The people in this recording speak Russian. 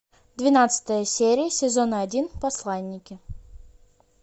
двенадцатая серия сезона один посланники